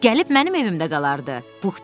Gəlib mənim evimdə qalardı, Pux dedi.